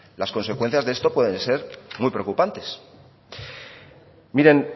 las consecuencias de esto pueden ser muy preocupantes mire